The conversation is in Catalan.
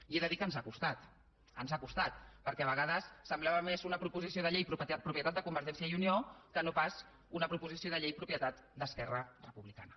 i he de dir que ens ha costat ens ha costat perquè a vegades semblava més una proposició de llei propietat de convergència i unió que no pas una proposició de llei propietat d’esquerra republicana